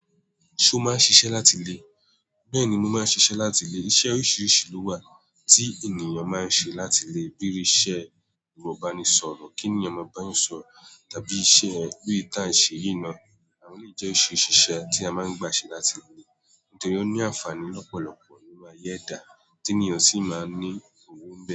Ṣo máa ń ṣiṣẹ́ láti ilé? Bẹ́ẹ̀ni, mo máa ń ṣiṣẹ́ láti ilé. Iṣẹ́ oríṣiríṣi ló wà tí ènìyàn máa ń ṣe láti ilé. Bíi iṣẹ́ eròbáníṣọ̀rọ̀, kí ènìyàn máa bá ẹ sọ̀rọ̀, tàbí iṣẹ́ bí ìta ń ṣe yìí ná. Àwọn yìí jẹ́ oṣìṣẹ́ tí a máa ń gbà ṣe láti ilé. Nítorí ó ní àǹfààní lọ́pọ̀lọpọ̀ nínu ayé eda. Tí ènìyàn sì máa ń ní owó n be.